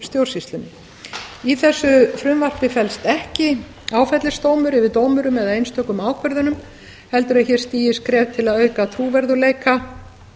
stjórnsýslunni í þessu frumvarpi felst ekki áfellisdómur yfir dómurum eða einstökum ákvörðunum heldur er hér stigið skref til að auka trúverðugleika